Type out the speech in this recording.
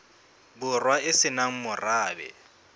borwa e se nang morabe